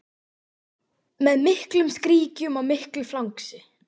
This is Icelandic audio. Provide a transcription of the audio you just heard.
Með miklum skríkjum og miklu flangsi.